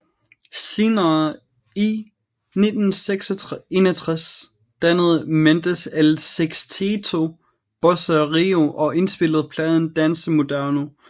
Senere i 1961 dannede Mendes El Sexteto Bossa Rio og indspillede pladen Dance Moderno